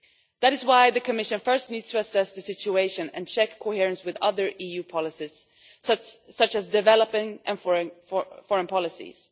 That is why the Commission first needs to assess the situation and check coherence with other EU policies, such as developing and foreign policies.